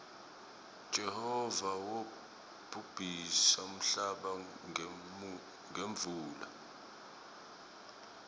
jehova wobhubhisa nmhlaba ngemuula